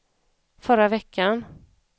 förra veckan